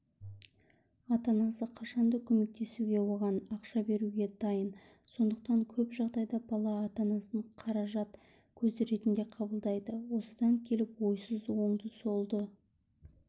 ата-анасы қашан да көмектесуге оған ақша беруге дайын сондықтан көп жағдайда бала ата-анасын қаражат көзі ретінде қабылдайды осыдан келіп ойсыз оңды-солды